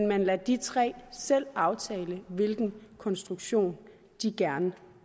man lader de tre selv aftale hvilken konstruktion de gerne